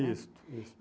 Isso.